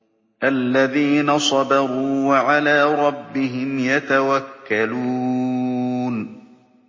الَّذِينَ صَبَرُوا وَعَلَىٰ رَبِّهِمْ يَتَوَكَّلُونَ